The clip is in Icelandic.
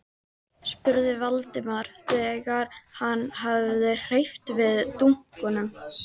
spurði Valdimar þegar hann hafði hreyft við dunkunum.